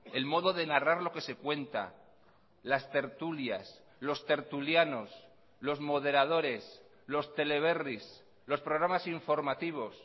el modo de narrar lo que se cuenta las tertulias los tertulianos los moderadores los teleberris los programas informativos